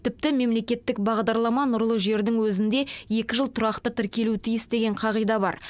тіпті мемлекеттік бағдарлама нұрлы жердің өзінде екі жыл тұрақты тіркелуі тиіс деген қағида бар